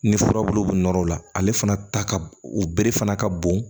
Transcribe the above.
Ni furabulu nɔrɔ la ale fana ta u bere fana ka bon